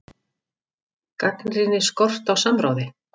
Gagnrýnir skort á samráði